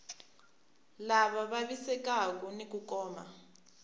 lava vavisekaku ni ku kuma